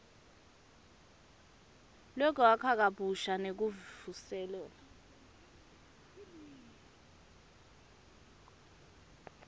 lwekwakha kabusha nekuvuselela